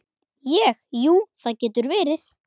Ég, jú, það getur verið.